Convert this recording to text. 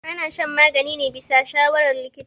ana shan magani ne bisa shawarar likita